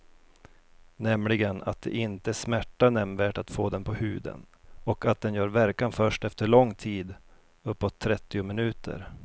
Nämligen att det inte smärtar nämnvärt att få den på huden och att den gör verkan först efter lång tid, uppåt trettio minuter.